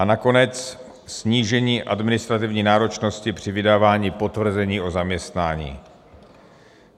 A nakonec snížení administrativní náročnosti při vydávání potvrzení o zaměstnání.